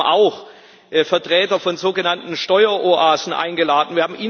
Wir haben auch Vertreter von sogenannten Steueroasen eingeladen.